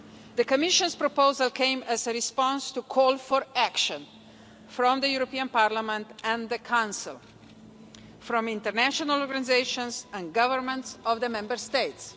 The Commission's proposal came as a response to a call for action from the European Parliament and the Council, from international organisations and from governments of the Member States.